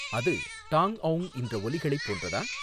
அது டாங் ஔங் இன்ற ஒலிகளைப் போன்றதா?